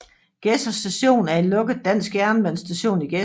Gedser Station er en lukket dansk jernbanestation i Gedser